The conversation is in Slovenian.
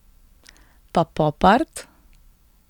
Pa pop art?